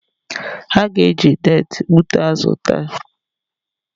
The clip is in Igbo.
Ha ga-eje neti gbụta azụ taa